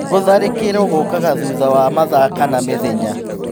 Gũtharĩkĩrwo gũkaga thutha wa mathaa kana mĩthenya.